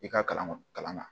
I ka kalan kɔnna